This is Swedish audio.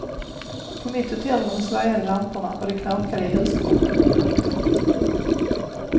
På mitt hotellrum svajade lamporna och det knakade i huskroppen. punkt